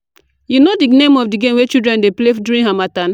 you know the the name of di game wey children dey play for Harmattan?